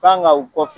Kan ga u kɔfɛ